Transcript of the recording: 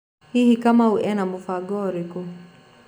Hihi Kamau ena Mũbango ũrĩkũ?